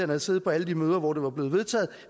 havde siddet på alle de møder hvor det var blevet vedtaget